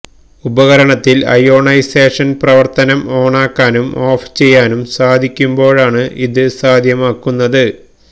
ഉപകരണത്തിൽ അയോണൈസേഷൻ പ്രവർത്തനം ഓണാക്കാനും ഓഫ് ചെയ്യാനും സാധിക്കുമ്പോഴാണ് ഇത് സാധ്യമാക്കുന്നത്